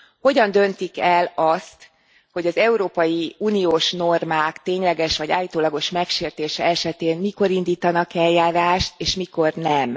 Hogyan döntik el azt, hogy az európai uniós normák tényleges vagy állítólagos megsértése esetén mikor indítanak eljárást, és mikor nem.